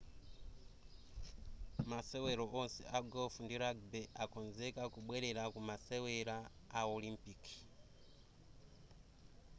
masewero onse a golf ndi rugby akonzeka kubwerera ku masewera a olimpiki